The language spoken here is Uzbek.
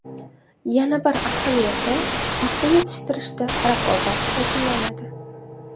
Yana bir ahamiyati paxta yetishtirishda raqobat shakllanadi.